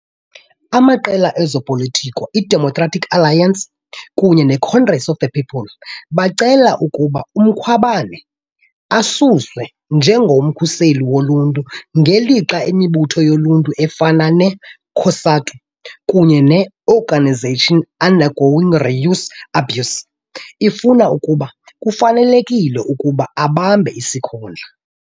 Amaqela ezopolitiko iDemocratic Alliance kunye neCongress of the People bacele ukuba uMkhwebane asuswe njengoMkhuseli Woluntu ngelixa imibutho yoluntu efana ne- COSATU kunye ne- Organisation Undergoing Reuse Abuse ifuna ukuba kufanelekile ukuba abambe isikhundla.